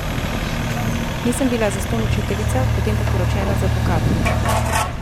Nisem bila zastonj učiteljica, potem pa poročena z advokatom!